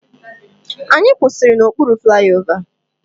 Anyị kwụsịrị n'okpuru flaiova.